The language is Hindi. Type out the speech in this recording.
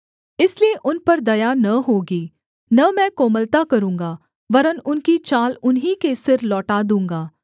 इसलिए उन पर दया न होगी न मैं कोमलता करूँगा वरन् उनकी चाल उन्हीं के सिर लौटा दूँगा